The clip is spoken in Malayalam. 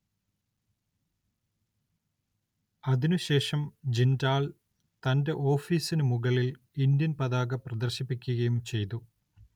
അതിനു ശേഷം ജിണ്ടാൽ തന്റെ ഓഫീസിനു മുകളിൽ ഇന്ത്യൻ പതാക പ്രദർശിപ്പിക്കുകയും ചെയ്തു.